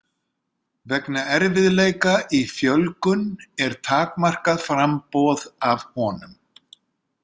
Vegna erfiðleika í fjölgun er takmarkað framboð af honum.